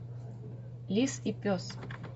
лис и пес